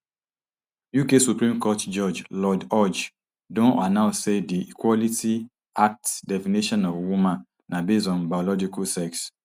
uk supreme court judge lord hodge don announce say di equality act definition of woman na base on biological sex